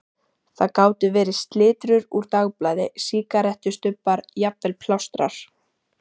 Það gátu verið slitrur úr dagblaði, sígarettustubbar, jafnvel plástrar.